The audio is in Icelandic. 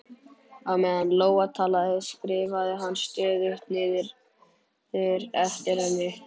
Á meðan Lóa talaði, skrifaði hann stöðugt niður eftir henni